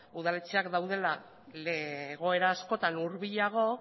udaletxeak daudela egoera askotan hurbilago